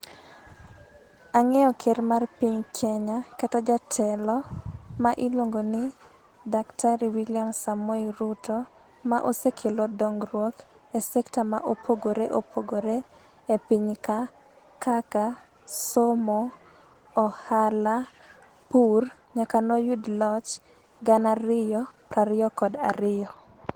Ang'eyo ker mar piny Kenya kata jatelo ma iluongo ni Daktari William Samoei Ruto, ma osekelo dongruok e sekta ma opogore opogore e piny ka, kaka: somo, ohala, pur nyaka ne oyud loch gana ariyo prariyo kod ariyo.